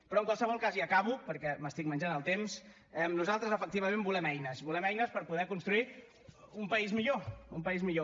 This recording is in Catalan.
però en qualsevol cas i acabo perquè m’estic menjant el temps nosaltres efectivament volem eines volem eines per poder construir un país millor un país millor